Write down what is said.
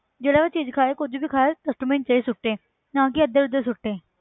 ਜਿਹੜਾ ਵੀ ਚੀਜ਼ ਖਾਏ ਕੁੱਝ ਵੀ ਖਾਏ dustbin 'ਚ ਹੀ ਸੁੱਟੇ ਨਾ ਕਿ ਇੱਧਰ ਉੱਧਰ ਸੁੱਟੇ